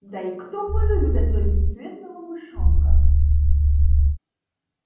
да и кто полюбит этого бесцветного мышонка